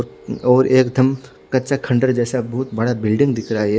और एक दम कचचा खंडर जेसा बोहोत बड़ा बिल्डिंग दिखाई दे रहा है ये--